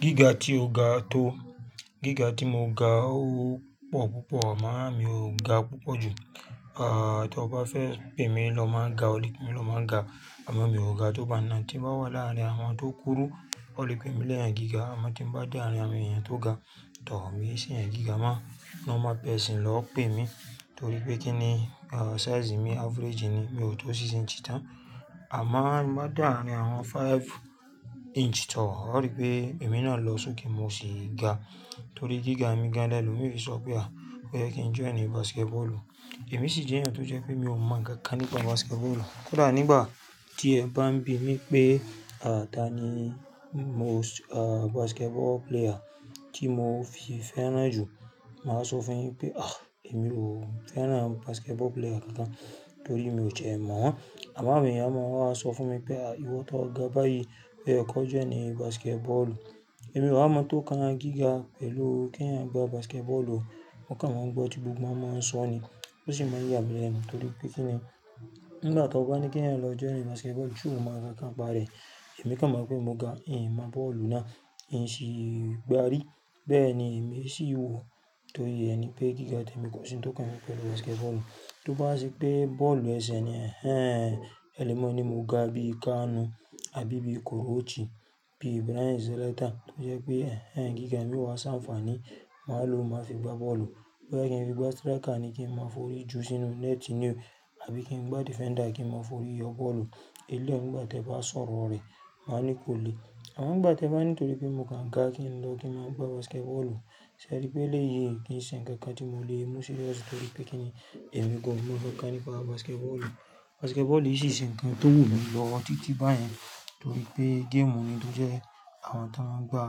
Gíga tí o ga tó, gíga tí mo ga ó pọ̀ púpọ̀, maa mi ò ga púpọ̀ jù. À, tí ọba fẹ́ pè mí lọ máa ń ga, ó le pè mí lọ máa ń ga, àmọ́ mi ò ga tó bá n nàá. Tí n bá wà láàárín àwọn tó kúrú, ó le pè mí léyan gíga, àmọ́ tí n bá de àárín àwọn èèyàn tó ga, tọ̀ mí ṣì ń gíga má. Normal person lo n pè mí, torí pé kini? Size mi average nii mi ò tó six inches tan. Àmọ́ tí n bá de láàrín àwọn five inch tall, oó rí pè emí náà lọ sókè mo sì ga, torí gíga mi gan ni elomin fi sọ wípé ó yẹ kin join basketball. Èmi sì jẹ́ èyàn tó jẹ́ pé mi ò mọ nkankan nípa basketball kódà nígbà tí ẹ bá ń bimi pé ta ni most basketball player tí mo fẹ́ràn jù, má sọ fún yín wípé èmi ò fẹ́ràn basketball player kankan torí mi ò tie mọ wan. Àmọ́ àwọn ènìyàn a máa wá sọ fún mi pé ìwọ tó ga báyìí ó yẹ kó join basketball. Èmi ò wá mọ ohun tó kan gíga pẹ̀lú kí èyàn gba basketball o, mo kan ma n gbọ́ ti gbogbo wọn máa ń sọ ni ó sì ma n yà mí lẹ́nu torí wípé kini- nígbà tí ó bá ní k'eyan lọ join basketball tí ó mọ nkankan nípa rẹ̀. Èmi kan mọ pé mo ga, n mọ ball náà, n sì gbá rí. Bẹ́ẹ̀ni èmi sì-- torí rẹ̀ ni pé gíga tèmi kò sì n tó kan èmi pẹ̀lú basketball tó bá ṣe pé bọ́ọ̀lù ẹsẹ̀ ni, ẹnhẹn, ẹ le máa ní mo ga bíi Kanu, àbí bíi korochi, bíi brenz-- tó jẹ́ pé ẹnhẹn gíga mi ò wá s'anfààní, máa lo ma fi gbá bọ́ọ̀lù bóyá kin fi gbá striker ni kin máa f'orí ju sínú net ni o, àbí kin gbá defender kin máa f'orí yọ bọ́ọ̀lù. Eléyìí nígbà tí ẹ bá sọ̀rọ̀ rẹ̀, wo a nii kò le àmọ́ nígbà tí ẹ bá nítorí pé mo kan ga kin lọ kin máa gbá basketball, ṣe ẹ rí pé eléyìí ò kin ṣe nkan tí mo le mú serious tó ripe kini- èmi gan ò mọ nkankan nípa basketball basketball yìí ẹ sii ṣe nkan tó wù mí lọ títí báyẹn, torí pé game mi tó jẹ́ àwọn tan ma n gbà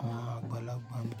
àwọn àgbàlagbà ni.